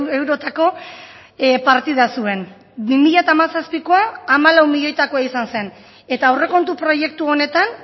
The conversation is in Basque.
eurotako partida zuen bi mila hamazazpikoa hamalau milioitakoa izan zen eta aurrekontu proiektu honetan